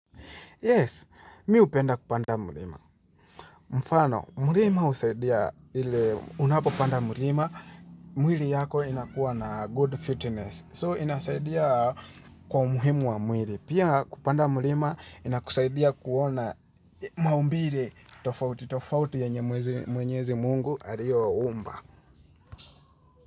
Yes, mi upenda kupanda mulima. Mfano, mulima usaidia ili unapo panda mulima. Mwili yako inakuwa na good fitness. So, inasaidia kwa umuhimu wa mwili. Pia kupanda mulima inakusaidia kuona maumbilre tofauti tofauti yenye mwenyezi Mungu aliyo umba.